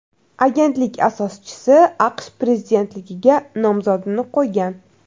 Agentlik asoschisi AQSh prezidentligiga nomzodini qo‘ygan.